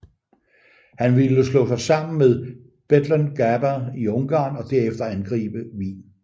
Han ville slå sig sammen med Bethlen Gabor i Ungarn og derefter angribe Wien